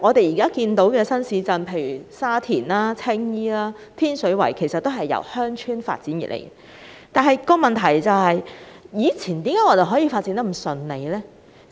現有新市鎮如沙田、青衣和天水圍，其實均由鄉村發展而成，問題是為何以前在進行發展時可以如此順利？